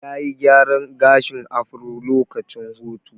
Ya yi gyaran gashin afro lokacin hutu.